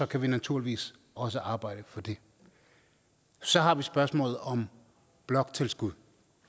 kan vi naturligvis også arbejde for det så har vi spørgsmålet om bloktilskud